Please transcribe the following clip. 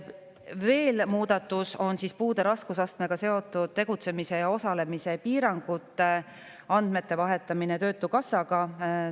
Veel üks muudatus on puude raskusastmega seotud tegutsemise ja osalemise piirangute andmete vahetamine töötukassaga.